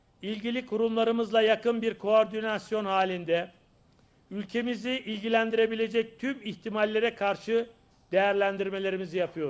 əlaqədar qurumlarımızla yaxın bir koordinasiya halında, ölkəmizi maraqlandıra biləcək tüm ehtimallara qarşı qiymətləndirmələrimizi aparırıq.